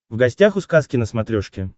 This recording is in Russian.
в гостях у сказки на смотрешке